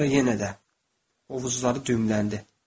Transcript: Sonra yenə də qovuzları düyümləndi.